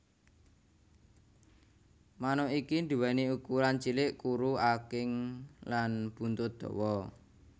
Manuk iki nduweni ukuran cilik kuru aking lan buntut dawa